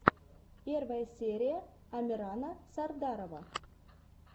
первая серия амирана сардарова